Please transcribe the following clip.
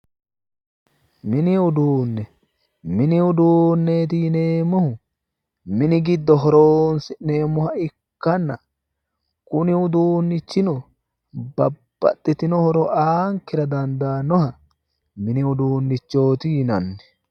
Mini uduunne mini uduunne yineemmohu mini giddo horoonsi'neemmoha ikkanna kuni uduunnichino babbaxitino horo aankera dandaannoha ikkanna mini uduunnichooti yinanni